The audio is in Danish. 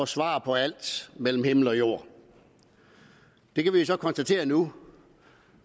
svar på alt mellem himmel og jord vi kan jo så konstatere nu